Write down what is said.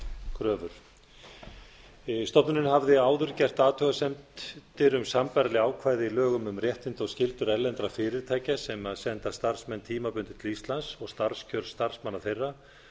kröfur stofnunin hafði áður gert athugasemd við sambærileg ákvæði í lögum um réttindi og skyldur erlendra fyrirtækja sem senda starfsmenn tímabundið til íslands og starfskjör starfsmanna þeirra